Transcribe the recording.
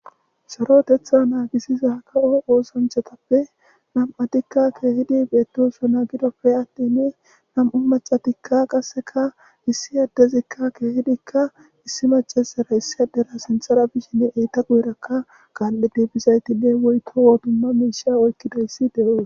Sarotheththaa naagissiza kawo oosanchchathappe nam7athikka keehidi beeththoosona; gidoppe aththini nam7u maccathikka qassekka issi addezikka keehidikka issi maccaseera issi addera sinththara bisheni eetha guyerakka kaalli biida zaythinne woykko wo dumma moysay oykkidossi de7ees.